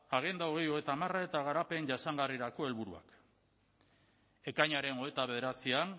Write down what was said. agenda bi mila hogeita hamar eta garapen jasangarrirako helburuak ekainaren hogeita bederatzian